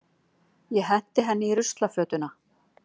Ég henti henni í ruslafötuna.